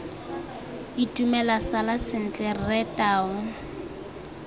itumela sala sentle rre tau